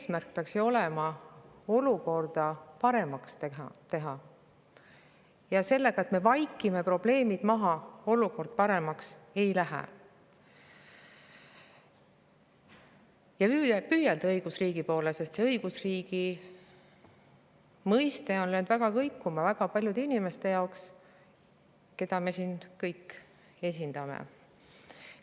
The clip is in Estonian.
Eesmärk peaks ju olema olukorda paremaks teha – sellega, et me vaikime probleemid maha, olukord paremaks ei lähe – ja püüelda õigusriigi poole, sest õigusriigi mõiste on löönud kõikuma väga paljude inimeste jaoks, keda me siin kõik esindame.